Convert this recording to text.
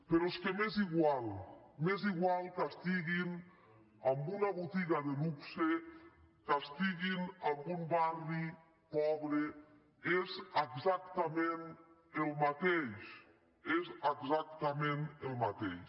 però és que m’és igual m’és igual que estiguin en una botiga de luxe que estiguin en un barri pobre és exactament el mateix és exactament el mateix